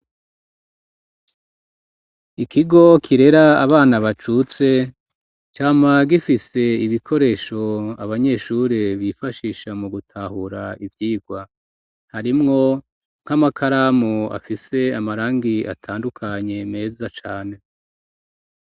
Ikigo kirera abana bacutse, cama gifise ibikoresho abanyeshuri bifashisha mu gutahura ivyigwa, harimwo nk'amakaramu afise amarangi atandukanye meza cane.